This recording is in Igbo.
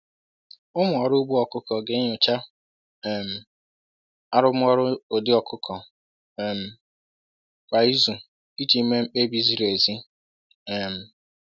“Ụmụ ọrụ ugbo ọkụkọ ga-enyocha um arụmọrụ ụdị ọkụkọ um kwa izu iji mee mkpebi ziri ezi.” um